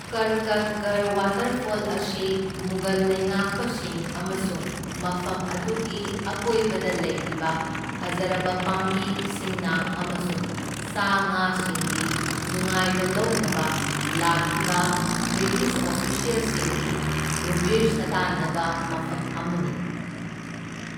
ꯀꯔꯀꯠꯒꯔ waterfall ꯑꯁꯤ ꯃꯨꯘꯜ ꯂꯩꯉꯥꯛꯄꯁꯤꯡ ꯑꯃꯁꯨꯡ ꯃꯐꯝ ꯑꯗꯨꯒꯤ ꯑꯀꯣꯏꯕꯗ ꯂꯩꯔꯤꯕ ꯐꯖꯔꯕ ꯄꯥꯝꯕꯤ ꯁꯤꯡꯅꯥ ꯑꯃꯁꯨꯡ ꯁꯥ ꯉꯥꯁꯤꯡꯒꯤ ꯅꯨꯡꯉꯥꯏꯕ ꯂꯧꯅꯕ ꯂꯥꯛꯈꯤꯕ ꯕ꯭ꯔꯤꯇꯤꯁ ꯑꯣꯐꯤꯁ꯭ꯌꯦꯜꯁꯤꯡꯒꯤ ꯒꯨꯝꯚꯤꯔ ꯁꯥꯗꯥꯟꯅꯕ ꯃꯐꯝ ꯑꯃꯅꯤ꯫